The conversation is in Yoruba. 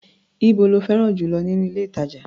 Íbo lí fẹ́ràn jù lọ nínú ilé-ìtàjà?